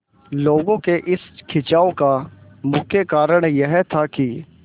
लोगों के इस खिंचाव का मुख्य कारण यह था कि